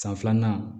San filanan